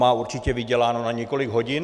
Má určitě vyděláno na několik hodin.